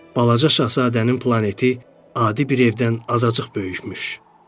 Balaca şahzadənin planeti adi bir evdən azacıq böyükmüş.